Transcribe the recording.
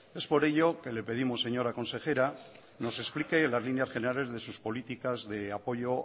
es por ello que le pedimos señora consejera nos explique las líneas generales de sus políticas de apoyo